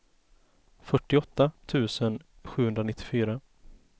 fyrtioåtta tusen sjuhundranittiofyra